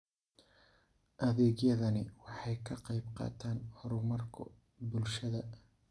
Adeegyadani waxay ka qayb qaataan horumarka bulshada.